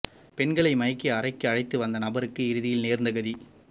பெண்களை மயக்கி அறைக்கு அழைத்து வந்த நபருக்கு இறுதியில் நேர்ந்த கதி